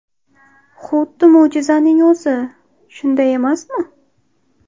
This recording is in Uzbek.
Xuddi mo‘jizaning o‘zi, shunday emasmi?